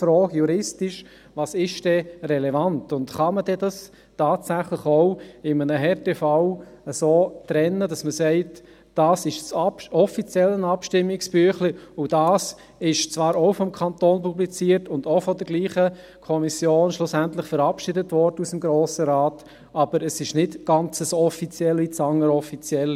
Die Frage, «Was ist denn relevant?», stellt sich einfach juristisch, und «Kann man es tatsächlich auch in einem Härtefall so trennen, dass man sagt, das eine ist das offizielle Abstimmungsbüchlein, das andere ist zwar auch vom Kanton publiziert und schlussendlich von derselben Kommission des Grossen Rates verabschiedet worden, aber es ist nicht ganz so offiziell wie das Erstere.